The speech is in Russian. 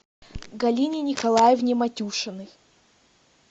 галине николаевне матюшиной